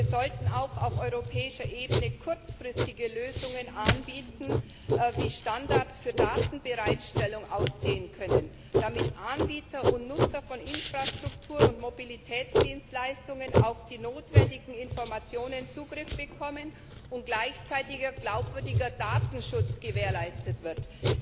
Wir sollten auch auf europäischer Ebene kurzfristige Lösungen anbieten, wie Standards für Datenbereitstellung aussehen können, damit Anbieter und Nutzer von Infrastruktur und Mobilitätsdienstleistungen auf die notwendigen Informationen Zugriff bekommen und gleichzeitiger, glaubwürdiger Datenschutz gewährleistet wird.